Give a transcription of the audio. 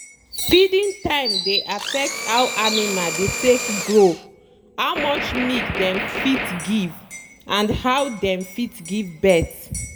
feeding time dey affect how animal dey take grow how much milk dem fit give and how dem fit give birth.